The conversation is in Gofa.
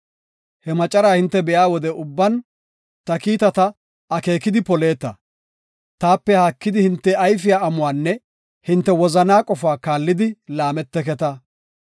He macaraa hinte be7iya wode ubban ta kiitata, akeekidi poleeta; taape haakidi hinte ayfiya amuwanne hinte wozanaa qofaa kaallidi laameteketa.